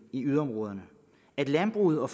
i yderområderne at landbruget og